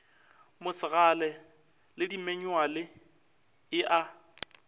mosegale le dimanyuale e a